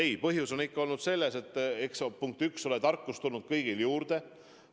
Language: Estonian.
Ei, põhjus on ikka olnud selles, et punkt üks: tarkust on tulnud kõigil juurde.